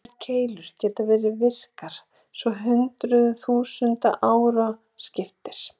Eldkeilur geta verið virkar svo hundruðum þúsunda ára skiptir.